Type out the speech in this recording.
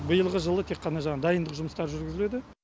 биылғы жылы тек қана жаңағы дайындық жұмыстары жүргізіледі